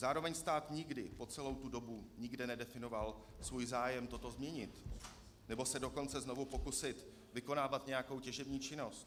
Zároveň stát nikdy po celou tu dobu nikde nedefinoval svůj zájem toto změnit, nebo se dokonce znovu pokusit vykonávat nějakou těžební činnost.